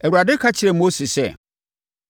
Awurade ka kyerɛɛ Mose sɛ,